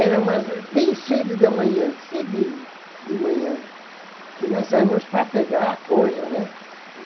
Era mais bem cedo de manhã, cedinho de manhã, que nós saímos para pegar a coisa, né?